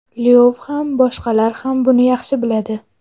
Lyov ham, boshqalar ham buni yaxshi biladi.